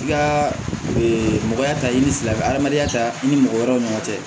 I ka mɔgɔya ta i ni silamɛ adamadenya ta i ni mɔgɔ wɛrɛw ni ɲɔgɔn cɛ